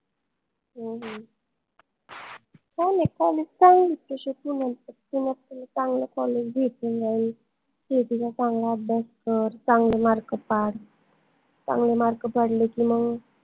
हम्म हम्म काई नाई college चांगले आहे तशे पुन्यातले तुला पन चांगलं college भेटून जाईल CET चा चांगला अभ्यास कर चांगले mark पाड चांगले mark पडले की, मंग